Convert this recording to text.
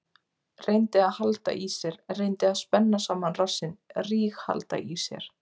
Reyndi að halda í sér, reyndi að spenna saman rassinn, ríghalda í sér.